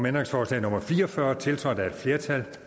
ændringsforslag nummer fire og fyrre tiltrådt af et flertal